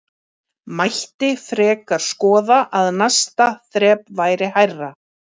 Mætti frekar skoða að næsta þrep væri hærra?